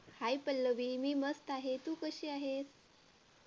hi Pallavi मी मस्त तू कशी आहेस?